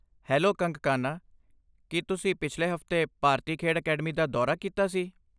Hello Kangkana, ਕੀ ਤੁਸੀਂ ਪਿਛਲੇ ਹਫ਼ਤੇ ਭਾਰਤੀ ਖੇਡ ਅਕੈਡਮੀ ਦਾ ਦੌਰਾ ਕੀਤਾ ਸੀ?